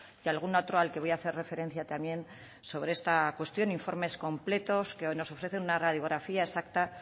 y algún otro al que voy hacer referencia también sobre esta cuestión informes completos que nos ofrecen una radiografía exacta